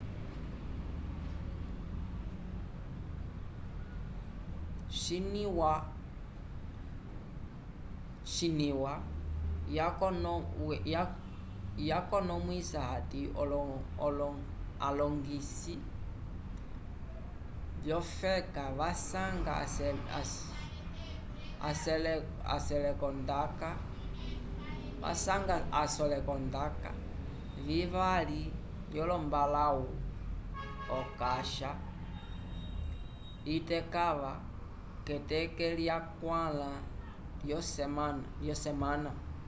xinywa yakonomwisa hati alongisi vyofeka vasanga aselekondaka vivali lyombalãwu okasha itekãva k'eteke lyakwãla lyosemana